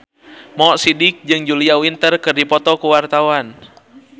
Mo Sidik jeung Julia Winter keur dipoto ku wartawan